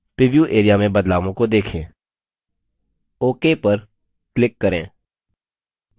preview area में बदलावों को देखें ok पर click करें